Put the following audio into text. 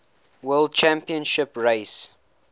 world championship race